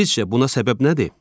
Sizcə buna səbəb nədir?